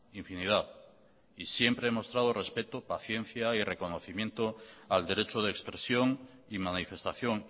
infinidad y siempre he mostrado respeto paciencia y reconocimiento al derecho de expresión y manifestación